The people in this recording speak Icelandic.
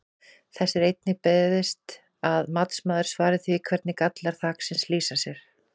Þess er einnig beiðst að matsmaður svari því hvernig gallar þaksins lýsa sér?